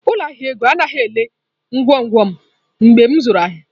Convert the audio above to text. Ụlọ ahịa ego anaghị elele ngwongwo m mgbe m zụrụ ahịa.